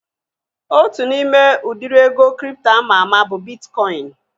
Otu n'ime udiri ego kripto ama ama bụ bitkọin